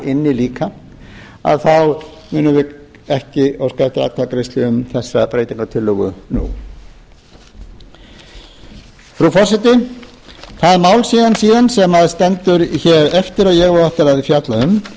inni líka að þá munum við ekki óska eftir atkvæðagreiðslu um þegar breytingartillögu nú frú forseti það mál síðan sem stendur hér eftir og ég á eftir að fjalla um